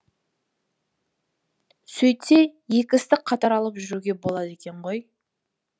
сөйтсе екі істі қатар алып жүруге болады екен ғой